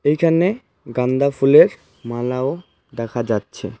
এখানে গান্দা ফুলের মালাও দেখা যাচ্ছে.